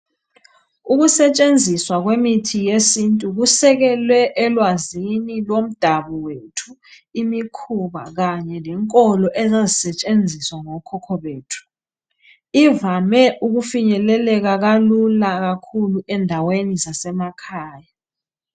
Ukusetshenziswa kwemithi yesintu kusekele elwazini lomdabu wethu, imikhuba kanye lenkolo ezazisetshenziswa ngokhokho bethu. Ivame ukufinyeleleka kalula kakhulu endaweni zasemakhaya.